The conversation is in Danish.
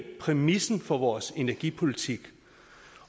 præmissen for vores energipolitik